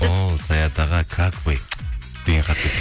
о саят аға как вы деген хат келіпті